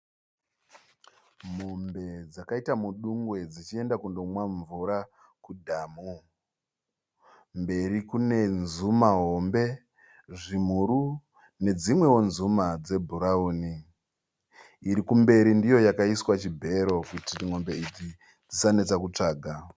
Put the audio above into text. Mombe dzakaita mudungwe dzichienda kunonwa mvura kudhamu. Mberi kune nzuma hombe zvimhuru nedzimweo nzuma dze bhurauni. Irikumberi ndiyo yakaiswa chibhero kuti mombe idzi dzisanetsa kutsvaga.